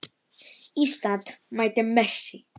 Ísland mætir Messi.